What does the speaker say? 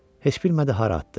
Heç bilmədi hara atdı.